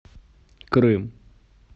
крым